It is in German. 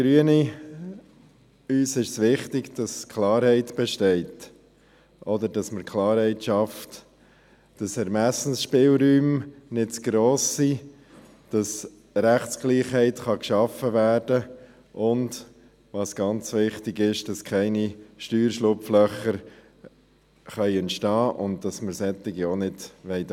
Uns Grünen ist wichtig, dass Klarheit besteht oder dass man Klarheit schafft, dass Ermessensspielräume nicht zu gross sind, dass Rechtsgleichheit geschaffen werden kann und – was ganz wichtig ist – dass keine Steuerschlupflöcher entstehen können und dass wir solche auch nicht dulden.